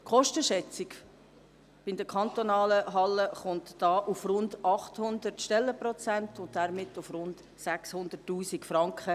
Die Kostenschätzung bei den kantonalen Hallen kommt da auf rund 800 Stellenprozente und damit auf rund 600 000 Franken.